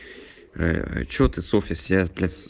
что ты совсем